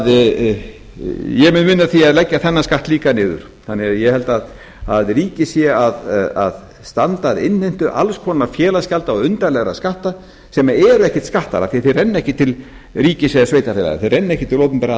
því vinna að því að leggja þennan skatt líka niður þannig að ég held að ríkið sé að standa að innheimtu alls konar félagsgjalda og undarlegra skatta sem eru ekkert skattar af því að þeir renna ekki til ríkis eða sveitarfélaga þeir renna ekki til opinberra